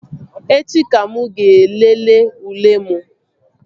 Echi ka mụ ga-elele ule m